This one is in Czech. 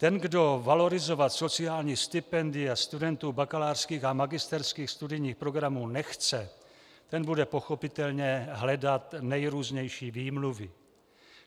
Ten, kdo valorizovat sociální stipendia studentů bakalářských a magisterských studijních programů nechce, ten bude pochopitelně hledat nejrůznější výmluvy.